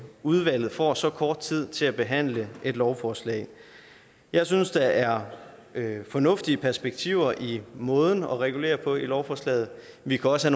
udvalget får så kort tid til at behandle et lovforslag jeg synes der er fornuftige perspektiver i måden at regulere på i lovforslaget vi kan også